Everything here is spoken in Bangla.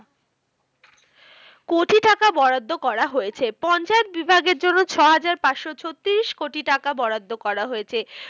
কোটি টাকা বরাদ্দ করা হয়েছে। পঞ্চায়েত বিভাগের জন্য ছ হাজার পাঁচশো ছত্রিশ কোটি টাকা বরাদ্দ করা হয়েছে।